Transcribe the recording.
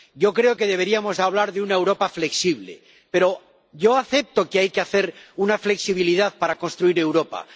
Yo creo que deberíamos hablar de una Europa flexible, pero yo acepto que hay que hacer una flexibilidad para construir Europa.